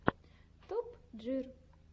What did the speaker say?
топ джир